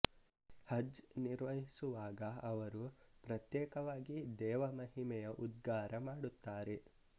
ಹಜ್ ನಿರ್ವಹಿಸುವಾಗ ಅವರು ಪ್ರತ್ಯೇಕವಾಗಿ ದೇವ ಮಹಿಮೆಯ ಉದ್ಗಾರ ಮಾಡುತ್ತಾರೆ